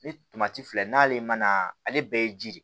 Ni tomati filɛ n'ale ma na ale bɛɛ ye ji de ye